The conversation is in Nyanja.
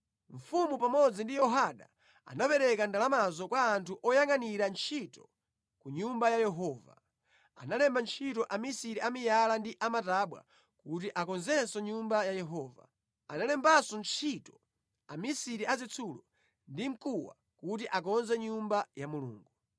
Mfumu pamodzi ndi Yehoyada anapereka ndalamazo kwa anthu oyangʼanira ntchito ku Nyumba ya Yehova. Analemba ntchito amisiri a miyala ndi a matabwa kuti akonzenso Nyumba ya Yehova. Analembanso ntchito amisiri a zitsulo ndi mkuwa kuti akonze Nyumba ya Mulungu.